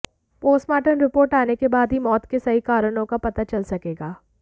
postmortem report आने के बाद ही मौत के सही कारणों का पता चल सकेगा